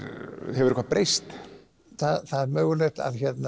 hefur eitthvað breyst það er mögulegt